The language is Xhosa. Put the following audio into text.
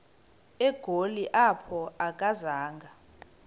egoli apho akazanga